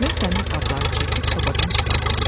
Mən dəmir qabları çəkib sobadan çıxarıram.